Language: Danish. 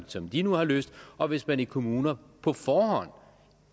som de nu har lyst og hvis man i kommuner på forhånd